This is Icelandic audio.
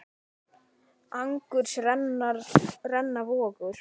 Angurs renna vogar.